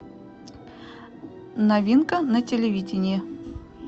новинка на телевидении